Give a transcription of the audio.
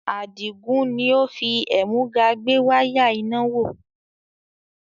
Adigun ni ó fi ẹ̀múga gbé wáyà iná wò